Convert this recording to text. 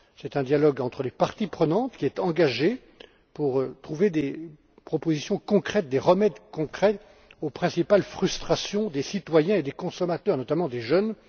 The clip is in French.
C'est un dialogue entre les parties prenantes qui est engagé pour trouver des propositions concrètes, des remèdes concrets aux principales frustrations des citoyens et des consommateurs, notamment des jeunes